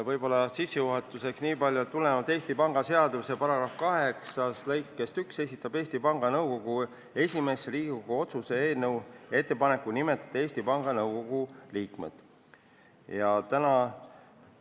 Võib-olla sissejuhatuseks nii palju, et tulenevalt Eesti Panga seaduse § 8 lõikest 1 esitab Eesti Panga Nõukogu esimees Riigikogu otsuse "Eesti Panga Nõukogu liikmete nimetamine" eelnõu.